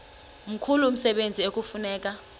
mkhulu umsebenzi ekufuneka